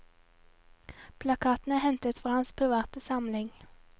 Plakatene er hentet fra hans private samling.